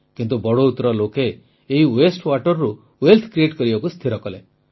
କିନ୍ତୁ ବଡ଼ୌତ୍ର ଲୋକେ ଏହି ୱେଷ୍ଟ ୱାଟର୍ରୁ ୱେଲ୍ଥ କ୍ରିଏଟ୍ କରିବାକୁ ସ୍ଥିର କଲେ